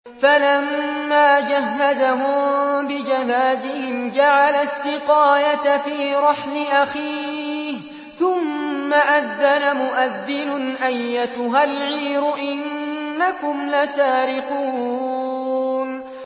فَلَمَّا جَهَّزَهُم بِجَهَازِهِمْ جَعَلَ السِّقَايَةَ فِي رَحْلِ أَخِيهِ ثُمَّ أَذَّنَ مُؤَذِّنٌ أَيَّتُهَا الْعِيرُ إِنَّكُمْ لَسَارِقُونَ